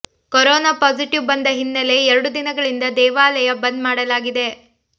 corona positive ಬಂದ ಹಿನ್ನೆಲೆ ಎರಡು ದಿನಗಳಿಂದ ದೇವಾಲಯ ಬಂದ್ ಮಾಡಲಾಗಿದೆ